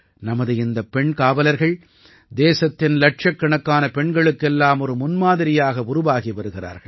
நமது இந்த பெண் காவலர்கள் தேசத்தின் இலட்சக்கணக்கான பெண்களுக்கெல்லாம் ஒரு முன்மாதிரியாக உருவாகி வருகிறார்கள்